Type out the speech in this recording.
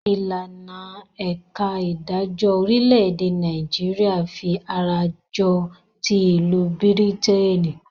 Ìlànà ẹ̀ka idajọ́ orílẹ̀-èdè Nàìjíríà fí ará jọ tí ìlú Bírítènì.